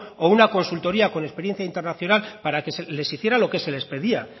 o una consultoría con experiencia internacional para que se les hiciera lo que se les pedía